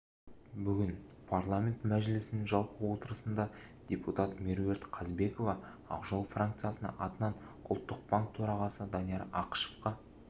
бүгін парламент мәжілісінің жалпы отырысында депутат меруерт қазбекова ақжол франкциясы атынан ұлттық банк төрағасы данияр ақышевқа